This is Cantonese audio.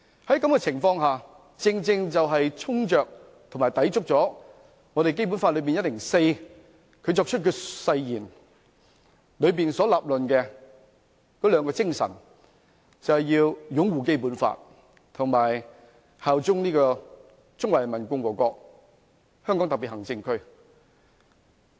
在這種情況下，他正正衝擊着及抵觸《基本法》第一百零四條關乎他作出的誓言所論述的兩種精神，就是要擁護《基本法》及效忠中華人民共和國香港特別行政區。